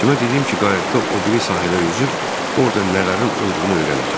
Cimə dedim ki, qayıqda o biri sahilə üzüb orda nələrin olduğunu öyrənəcəm.